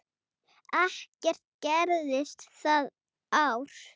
Ekkert gerðist það ár.